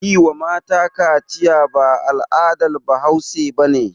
Yi wa mata kaciya ba al'adar bahause bane